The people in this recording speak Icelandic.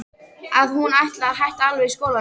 Að hún ætlaði að hætta alveg í skólanum.